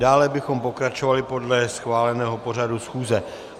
Dále bychom pokračovali podle schváleného pořadu schůze.